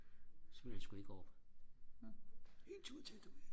så ville han sku ikke op en tur til du ved